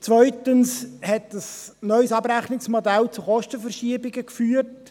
Zweitens hat ein neues Abrechnungsmodell zu Kostenverschiebungen geführt.